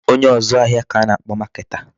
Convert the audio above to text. Onye ọzụ ahịa ka a na-akpọ marketer.